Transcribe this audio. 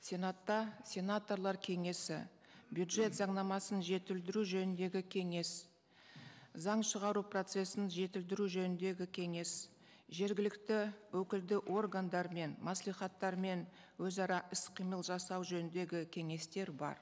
сенатта сенаторлар кеңесі бюджет заңнамасын жетілдіру жөніндегі кеңес заң шығару процессін жетілдіру жөніндегі кеңес жергілікті өкілді органдар мен мәслихаттармен өзара іс қимыл жасау жөніндегі кеңестер бар